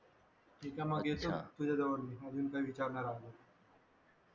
त्याच्यामागे येतो तुझ्याजवळ मी अजून काही विचारणा लागलं तर